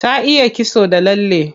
Ta iya kitso da lalle.